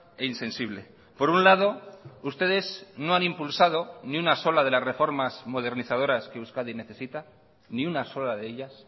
e insensible por un lado ustedes no han impulsado ni una sola de las reformas modernizadoras que euskadi necesita ni una sola de ellas